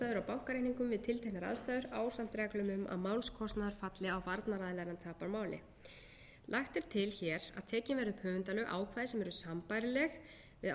bankareikningum við tilteknar aðstæður ásamt reglum um að málskostnaður falli á varnaraðila ef hann tapar máli lagt er til hér að tekin verði upp í höfundalög ákvæði sem eru sambærileg við